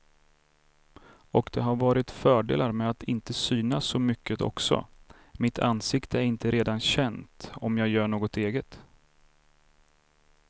Och det har varit fördelar med att inte synas så mycket också, mitt ansikte är inte redan känt om jag gör något eget.